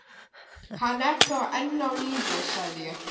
Hann er þá enn á lífi sagði ég.